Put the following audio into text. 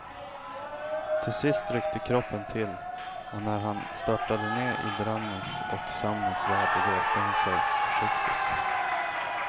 Till sist ryckte kroppen till och när han störtade ned i drömmens och sömnens värld reste hon sig försiktigt.